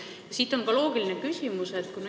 Siit tuleneb minu loogiline küsimus.